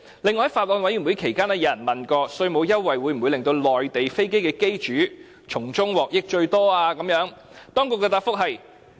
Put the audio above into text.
此外，在法案委員會期間，有人問稅務優惠會否令到內地飛機的機主從中獲得最大的得益？